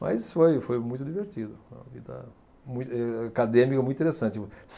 Mas foi foi muito divertido, uma vida mui eh acadêmica muito interessante.